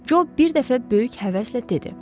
Job bir dəfə böyük həvəslə dedi.